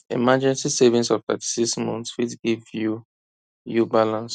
emergency savings of 36 months fit give you you balance